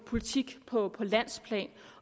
politik på landsplan